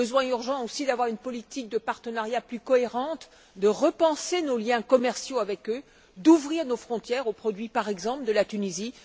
Urgent aussi de nous doter d'une politique de partenariat plus cohérente, de repenser nos liens commerciaux avec eux, d'ouvrir nos frontières aux produits, par exemple, de la Tunisie.